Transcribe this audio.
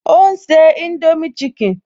Ó ń se indomie chicken